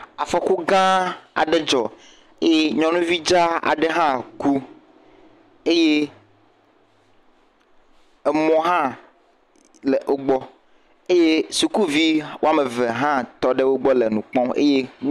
Afɔku gãa aɖe dzɔ eye nyɔnuvi dza aɖe hã ku eye emɔ hã le le wo gbɔ, eye sukuvi tɔ ɖe wo gbɔ le wo kpɔm.